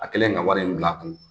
A kɛlen ka wari in bila kun